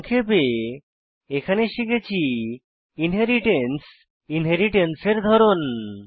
সংক্ষেপে এখানে শিখেছি ইনহেরিট্যান্স এবং ইনহেরিট্যান্স এর ধরন